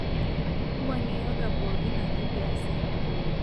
wuangie yoga pooki naaji peyie eesi